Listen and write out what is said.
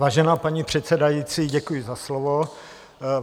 Vážená paní předsedající, děkuji za slovo.